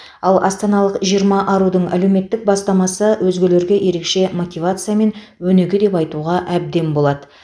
ал астаналық жиырма арудың әлеуметтік бастамасы өзгелерге ерекше мотивация мен өнеге деп айтуға әбден болады